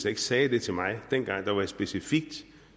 ikke sagde det til mig dengang jeg specifikt